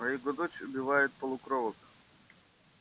а его дочь убивает полукровок